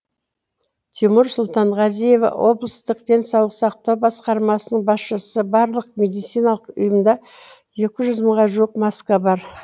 тимур сұлтанғазиев облыстық денсаулық сақтау басқармасының басшысы барлық медициналық ұйымда екі жүз мыңға жуық маска бар